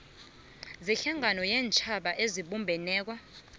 sehlangano yeentjhaba ezibumbeneko